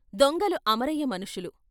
దొంగలు అమరయ్య మనుషులు.